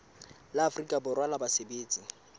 la afrika borwa la basebetsi